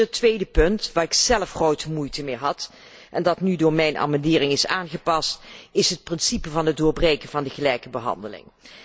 Voorzitter, het tweede punt, waar ik zelf grote moeite mee had en dat nu door mijn amendering is aangepast, is het principe van het doorbreken van de gelijke behandeling.